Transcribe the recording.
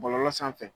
Bɔlɔlɔ sanfɛ